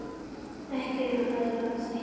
Ekki um aðra þætti.